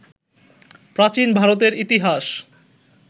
প্রাচীন ভারতের ইতিহাস